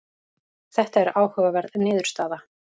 þetta er áhugaverð niðurstaða